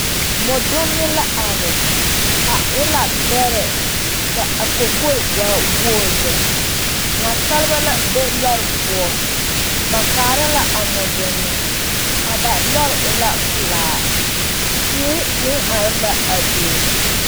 Mɔndonne la are a e la bɛrɛ ka a kɔkɔɛ waa woe lɛ naasaaleba la be lɔre poɔ ba kaara la a mɔndonni ka lɔre e la pelaa teere meŋ are la a be